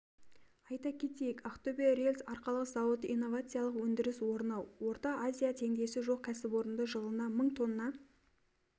айта кетейік ақтөбе рельс-арқалық зауыты инновациялық өндіріс орны орта азияда теңдесі жоқ кәсіпорында жылына мың тонна